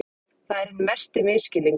Það er hinn mesti misskilningur.